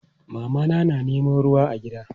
Mama na neman ruwa a gida.